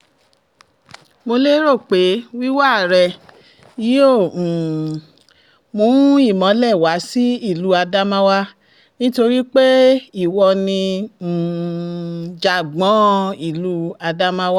mo lérò pé wíwá rẹ yóò um mú ìmọ́lẹ̀ wá sí ìlú ádámáwá nítorí pé ìwọ ni um jàgbón ìlú ádámáwà